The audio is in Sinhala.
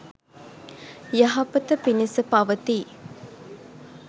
යහපත පිණිස පවතියි